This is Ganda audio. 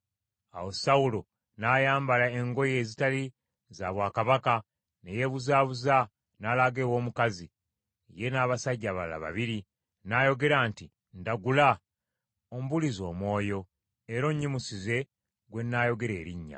Awo Sawulo n’ayambala engoye ezitali za bwakabaka ne yeebuzaabuza n’alaga ew’omukazi, ye n’abasajja abalala babiri. N’ayogera nti, “Ndagula, ombuulize omwoyo era onyimusize gwe nnaayogera erinnya.”